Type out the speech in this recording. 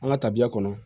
An ka tabiya kɔnɔ